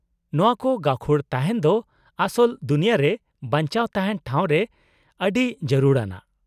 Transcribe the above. -ᱱᱚᱶᱟ ᱠᱚ ᱜᱟᱹᱠᱷᱩᱲ ᱛᱟᱦᱮᱸᱱ ᱫᱚ ᱟᱥᱚᱞ ᱫᱩᱱᱤᱭᱟᱹ ᱨᱮ ᱵᱟᱧᱪᱟᱣ ᱛᱟᱦᱮᱱ ᱴᱷᱟᱶ ᱨᱮ ᱟᱹᱰᱤ ᱡᱟᱨᱩᱲ ᱟᱱᱟᱜ ᱾